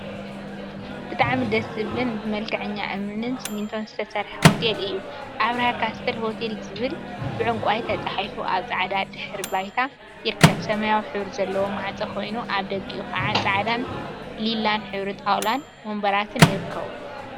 ብጣዕሚ ደስ ዝብልን ብመልክዐኛ እምኒን ስሚንቶን ዝተሰርሐ ሆቴል እዩ። አብርሃ ካስትል ሆቴል ዝብል ብዕንቋይ ተፃሒፉ አብ ፃዕዳ ድሕረ ባይታ ይርከብ። ሰማያዊ ሕብሪ ዘለዎ ማዕፆ ኮይኑ አብ ደጊኡ ከዓ ፃዕዳን ሊላን ሕብሪ ጣውላን ወንበራትን ይርከቡ።